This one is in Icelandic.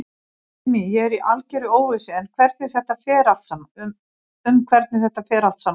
Ástin mín, ég er í algerri óvissu um hvernig þetta fer allt saman.